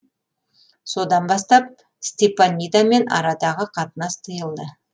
содан бастап степанидамен арадағы қатынас тиылды